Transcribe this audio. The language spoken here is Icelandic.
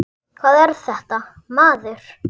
Hvað er þetta, maður!